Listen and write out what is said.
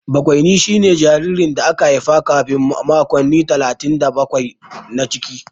Bakwaini shine jaririn da aka haifa kafin makonni talatin da bakwai na ciki.